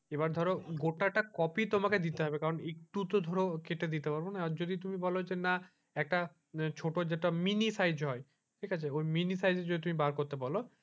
এবার ধরো গোটাটা কপি তোমাকে দিতে হবে কারণ একটু তো ধরো তোমাকে কেটে দিতে পারবো না যদি তুমি বোলো যে না একটা ছোট যেটা mini size হয় ঠিক আছে ওই mini size যদি তুমি বার করতে বোলো,